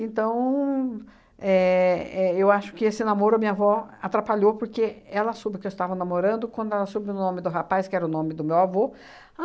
éh éh eu acho que esse namoro a minha avó atrapalhou, porque ela soube que eu estava namorando quando ela soube o nome do rapaz, que era o nome do meu avô.